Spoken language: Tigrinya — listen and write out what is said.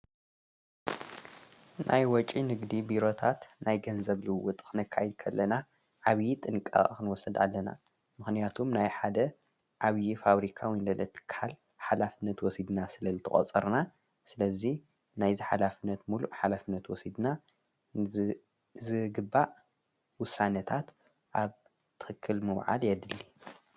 ናይ ወጭ ንግዲ ቢሮታት ናይ ገንዘብልው ጥኽነካ ይከለና ዓብዪ ጥንቃ ኽንወሰድ ኣለና ምኽንያቱም ናይ ሓደ ኣብዪ ፋብሪካ ውይንደልትካል ሓላፍነት ወሲድና ስለ ልተቖጸርና ስለዙይ ናይዝ ኃላፍነት ምሉእ ሓላፍነት ወሲድና ዝግባእ ውሳነታት ኣብ ትክል መውዓል የድሊ።